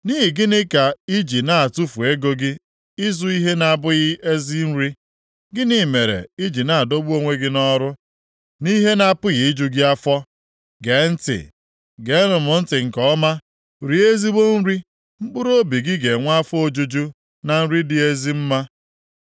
Nʼihi gịnị ka i ji na-atụfu ego gị ịzụ ihe na-abụghị ezi nri? Gịnị mere i ji na-adọgbu onwe gị nʼọrụ nʼihe na-apụghị iju gị afọ? Gee ntị, geenụ m ntị nke ọma, rie ezigbo nri mkpụrụobi gị ga-enwe afọ ojuju na nri dị ezi mma!